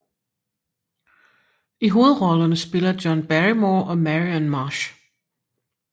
I hovedrollerne spiller John Barrymore og Marian Marsh